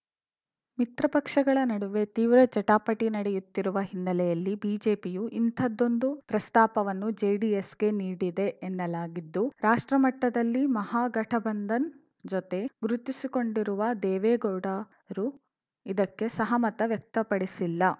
ಮಿತ್ರ ಪಕ್ಷಗಳ ನಡುವೆ ತೀವ್ರ ಜಟಾಪಟಿ ನಡೆಯುತ್ತಿರುವ ಹಿನ್ನೆಲೆಯಲ್ಲಿ ಬಿಜೆಪಿಯು ಇಂಥದೊಂದು ಪ್ರಸ್ತಾಪವನ್ನು ಜೆಡಿಎಸ್‌ಗೆ ನೀಡಿದೆ ಎನ್ನಲಾಗಿದ್ದು ರಾಷ್ಟ್ರಮಟ್ಟದಲ್ಲಿ ಮಹಾಗಠಬಂಧನ್‌ ಜೊತೆ ಗುರುತಿಸಿಕೊಂಡಿರುವ ದೇವೇಗೌಡರು ಇದಕ್ಕೆ ಸಹಮತ ವ್ಯಕ್ತಪಡಿಸಿಲ್ಲ